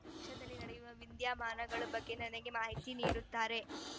ಪಕ್ಷದಲ್ಲಿ ನಡೆಯುವ ವಿದ್ಯಮಾನಗಳ ಬಗ್ಗೆ ನನಗೆ ಮಾಹಿತಿ ನೀಡುತ್ತಾರೆ